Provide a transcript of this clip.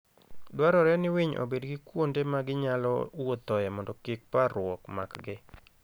Dwarore ni winy obed gi kuonde ma ginyalo wuothoe mondo kik parruok makgi.